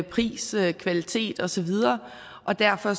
pris kvalitet og så videre og derfor